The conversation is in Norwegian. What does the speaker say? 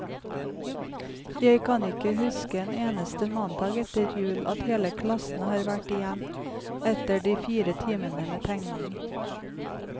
Jeg kan ikke huske en eneste mandag etter jul, at hele klassen har vært igjen etter de fire timene med tegning.